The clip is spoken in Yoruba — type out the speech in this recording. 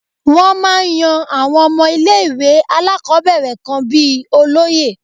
Wọ́n máa ń yan àwọn ọmọ ilé ìwé alákọ̀ọ́bẹ̀rẹ̀ kan bíi olóye.